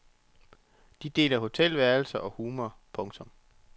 De deler hotelværelser og humor. punktum